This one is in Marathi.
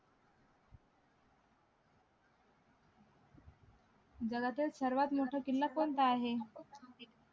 जगातील सर्वात मोठा किल्ला कोणता आहे